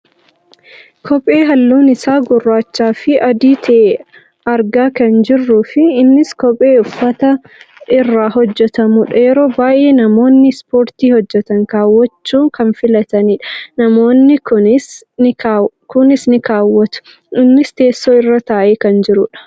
Kophe halluun isaa gurraachafi adii ta'e argaa kan jirruufi innis kophee uffata irraa hojjatamudha. Yeroo baayyee namoonni ispoortii hojjatan kaawwachuu kan filatanidha. Namoonni kaanis ni kaawwatu. innis teessoo irra taa'ee kan jirudha.